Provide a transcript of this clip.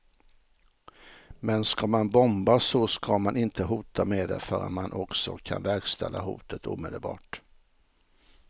Men ska man bomba så ska man inte hota med det förrän man också kan verkställa hotet omedelbart.